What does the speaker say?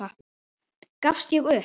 Gafst ég upp?